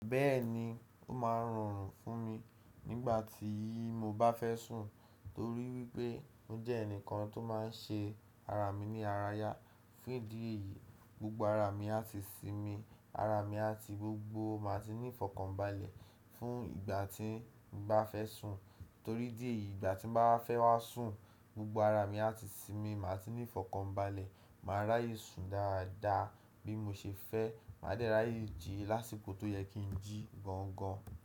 Bẹ́ẹ̀ni, ó máa ń rọrùn fún mi nígbà tí mo bá fẹ́ sùn torí wípé mo jẹ́ ẹnìkan tó máa ń ṣe ara mi ní ara yá. Fún ìdí èyí, gbogbo ara mi á ti sinmi, ara mi àti gbogbo máa ti ní ífọ̀kànbalẹ̀ fún ìgbà tí n bá fẹ́ sùn. Torí idí èyí, ìgbà tí m bá wà fẹ́ wá sùn, gbogbo ara mi á ti sinmi, máa ti ní ífọ̀kànbalẹ̀, máa ráyè sùn dáadáa bí mo ṣe fẹ́, máa dẹ́ ráyè jí lásìkò tó yẹ kí n jí gan gan.